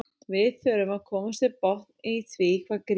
Við þurfum að komast til botns í því hvað Grýla vill.